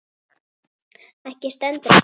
Ekki stendur á því.